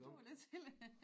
Du var lidt tidlig